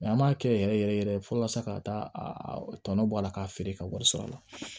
an b'a kɛ yɛrɛ yɛrɛ yɛrɛ fɔlɔ sisan ka taa a tɔnɔ bɔ a la k'a feere ka wari sɔrɔ a la